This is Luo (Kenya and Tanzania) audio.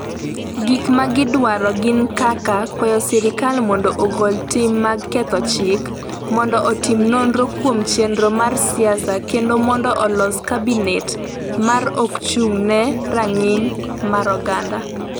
Gik ma gidwaro gin kaka kwayo sirkal mondo ogol tim mag ketho chik, mondo otim nonro kuom chenro mar siasa kendo mondo olos kabinet ma ok ochung’ ne rang’iny mar oganda.